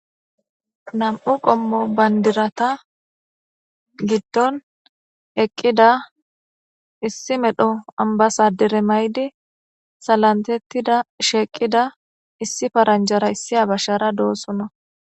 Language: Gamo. Namm'u qommo bandira giddon eqqida issi medhdho ambasader mayidi salamiththa eqqida issi paranjjara issi abashshara dossona